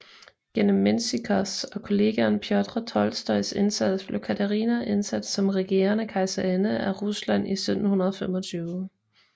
Gennem Mensjikovs og kollegaen Pjotr Tolstojs indsats blev Katarina indsat som regerende kejserinde af Rusland i 1725